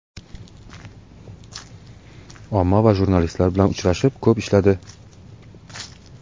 Omma va jurnalistlar bilan uchrashib, ko‘p ishladi.